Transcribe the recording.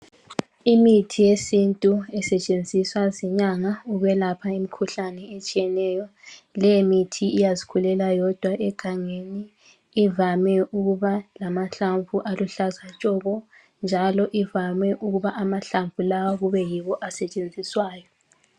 Imithi yesintu esetshenziswa zinyanga ukwelapha imkhuhlane etshiyeneyo, leyo mithi iyazikhulela yodwa egangeni, ivame ukuba lamahlamvu aluhlaza tshoko njalo ivame ukuba amahlamvu lawa kube yiwo asetshenziswayo.